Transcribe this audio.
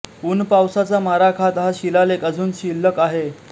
ऊनपावसाचा मारा खात हा शिलालेख अजून शिल्लक आहे